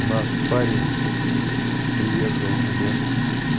у нас парень приехал лет